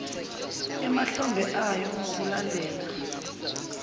emahlombe ayo ngokulandela